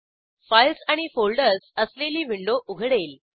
files आणि folders असलेली window उघडेल